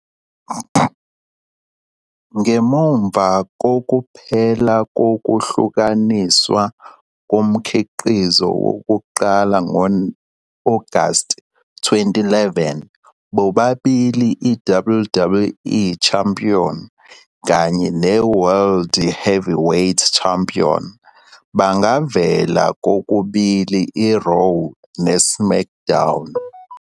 Ngemva kokuphela kokuhlukaniswa komkhiqizo wokuqala ngo-Agasti 2011, bobabili i-WWE Champion kanye ne-World Heavyweight Champion bangavela kokubili i-"Raw" ne-"SmackDown"